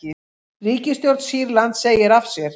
Ríkisstjórn Sýrlands segir af sér